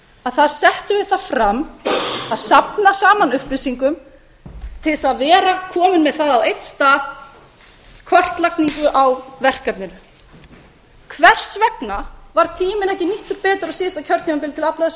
að þar settum við þetta fram að safna saman upplýsingum til þess að vera komin með það á einn stað kortlagningu á verkefninu hvers vegna var tíminn ekki nýttur betur á síðasta kjörtímabili til að afla þessara